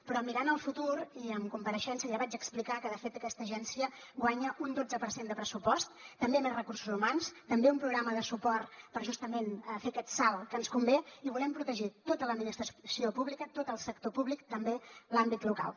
però mirant el futur i en compareixença ja vaig explicar que de fet aquesta agència guanya un dotze per cent de pressupost també més recursos humans també un programa de suport per justament fer aquest salt que ens convé i volem protegir tota l’administració pública tot el sector públic i també l’àmbit local